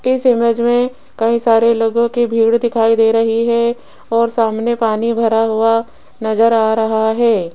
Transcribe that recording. इस इमेज में कई सारे लोगों की भीड़ दिखाई दे रही है और सामने पानी भरा हुआ नजर आ रहा है।